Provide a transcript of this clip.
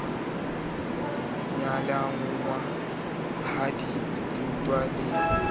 nyalanngwa ha di rutwa le